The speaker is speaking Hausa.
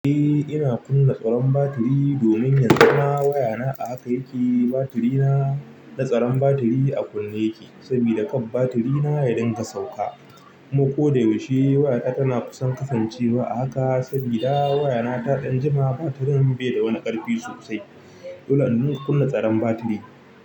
Eh ina kunna tsaron batiri domin yanzu na waya na a haka yake batiri na da tsaron batiri a kunne yake sabida kan batiri na ya dinga sauka kuma ko da yaushe waya ta tana kusan kasancewa a haka sabida waya na ta ɗan jima batirin bai da wani ƙarfi sosai. Dolanda muna kunna tsaron batiri.